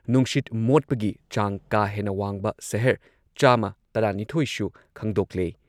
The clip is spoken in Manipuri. ꯅꯨꯡꯁꯤꯠ ꯃꯣꯠꯄꯒꯤ ꯆꯥꯡ ꯀꯥ ꯍꯦꯟꯅ ꯋꯥꯡꯕ ꯁꯍꯔ ꯆꯥꯃ ꯇꯔꯥ ꯅꯤꯊꯣꯏ ꯁꯨ ꯈꯪꯗꯣꯛꯂꯦ ꯫